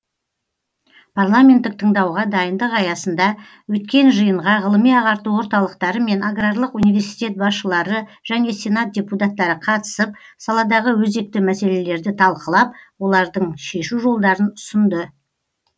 парламенттік тыңдауға дайындық аясында өткен жиынға ғылыми ағарту орталықтары мен аграрлық университет басшылары және сенат депутаттары қатысып саладағы өзекті мәселелерді талқылап олардың шешу жолдарын ұсынды